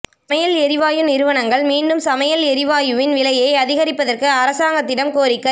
சமையல் எரிவாயு நிறுவனங்கள் மீண்டும் சமையல் எரிவாயுவின் விலையை அதிகரிப்பதற்கு அரசாங்கத்திடம் கோரிக்கை